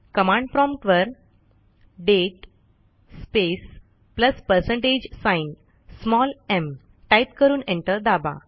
command promptवर दाते space plus percentage sign mटाईप करून एंटर दाबा